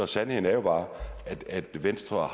sandheden er jo bare at venstre